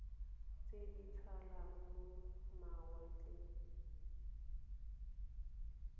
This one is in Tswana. tse di tshelang mo mawatleng